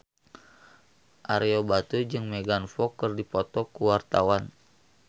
Ario Batu jeung Megan Fox keur dipoto ku wartawan